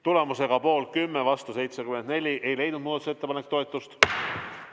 Tulemusega poolt 10, vastu 74 ei leidnud muudatusettepanek toetust.